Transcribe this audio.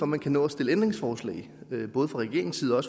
man kan nå at stille ændringsforslag både fra regeringens side og